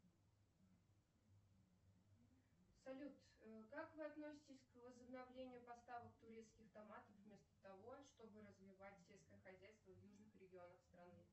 салют как вы относитесь к возобновлению поставок турецких томатов вместо того чтобы развивать сельское хозяйство в южных регионах страны